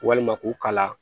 Walima k'u kala